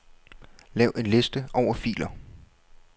Lav en liste over filer.